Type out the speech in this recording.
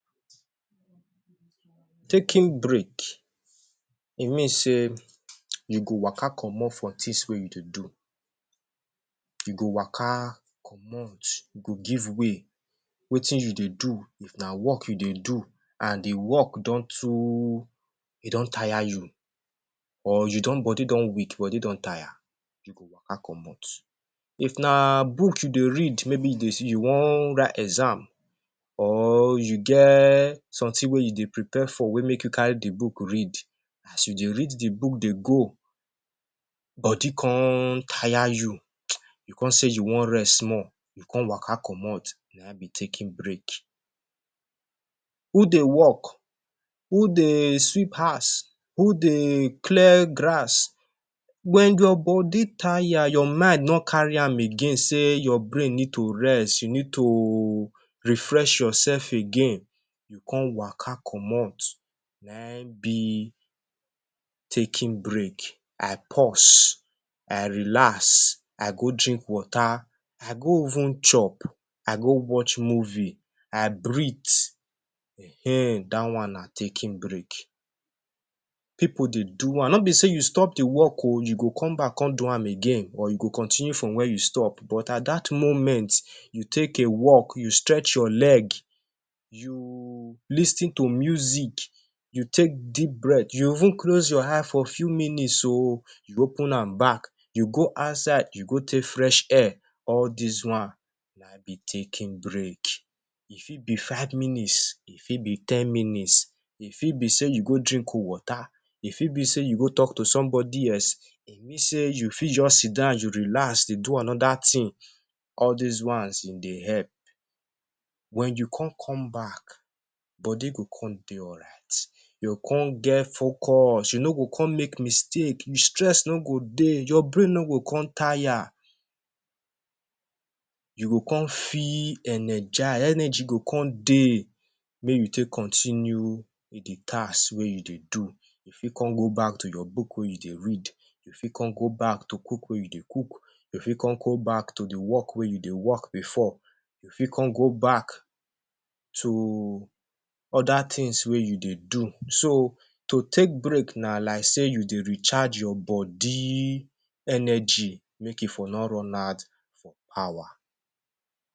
Taking break, e mean sey you go waka comot for tins wey you dey do. You go waka comot, you go give way. Wetin you dey do? If na work you dey do, an the work don too e don taya you, or you don body don weak, body don taya, you go waka comot. If na book you dey read maybe you dey you wan write exam or you get something wey you dey prepare for wey make you carry the book read, as you dey read the book dey go, body con taya you, you con say you wan rest small, you con waka comot, na ein be taking break. Who dey work, who dey sweep house, who dey clear grass, wen your body taya, your mind no carry am again sey your brain need to rest, you need to refresh yoursef again, you con waka comot, na ein be taking break. I pause, I relax, I go drink water, I go even chop, I go watch movie, I breathe,[um]ehn dat one na taking break. Pipu dey do am. No be sey you stop the work oh, you go come back come do am again or you go continue from where you stop. But at that moment, you take a walk, you stretch your leg, you lis ten to music, you take deep breath, you even close your eye for few minutes oh, you open am back, you go outside you go take fresh air, all dis one na ein be taking break. E fit be five minutes, e fit be ten minutes, e fit be sey you go drink cold water, e fit be sey you go talk to somebody else, e mean sey you fit juz sit down, you relax, dey do another tin, all dis ones ein dey help. Wen you con come back, body go con dey alright. You go con get focus, you no go con make mistake, you stress no go dey, your brain no go con taya, you go con feel energize, energy go con dey make you take continue with the task wey you dey do. You fit con go back to your book wey you dey read, you fit con go back to cook wey you dey cook, you fit con go back to the work wey you dey work before, you fit con go back to other tins wey you dey do. So, to take break na like sey you dey recharge your body energy make you for no run out for power